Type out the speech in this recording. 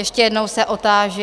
Ještě jednou se otáži.